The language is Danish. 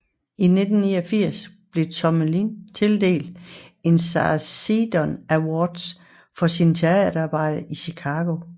I 1989 blev Tomlin tildelt en Sarah Siddon Award for sit teaterarbejde i Chicago